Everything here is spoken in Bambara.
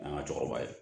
An ka cɛkɔrɔba ye